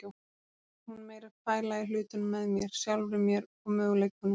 Nú ætlar hún meira að pæla í hlutunum með mér, sjálfri mér og möguleikunum.